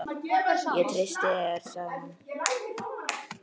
Ég treysti þér sagði hún.